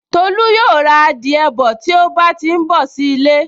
Tolú yóò ra adìẹ bọ̀ tí ó bá ti n bọ̀ sí ilé